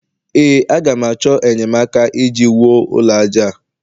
ee, a ga m achọ enyemaka iji wuo ụlọ aja a